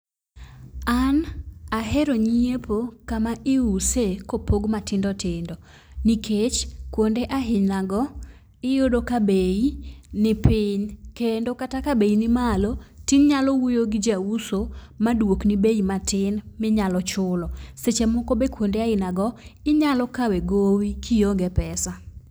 An ahero nyiepo kama iuso kopog matindotindo nikech kuonde aina go iyudo ka bei ni piny kendo kata ka bei nimalo tinyalo wuoyo gi jauso maduok ni bei matin minyalo chulo. Seche moko be kuonde aina go inyalo kawe gowi kionge pesa.